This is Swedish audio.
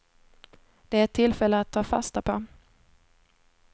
Det är ett tillfälle att ta fasta på.